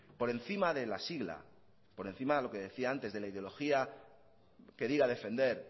por encima de la sigla por encima de lo que decía antes de la ideología que diga defender